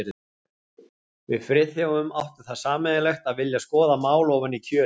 Við Friðþjófur áttum það sameiginlegt að vilja skoða mál ofan í kjölinn.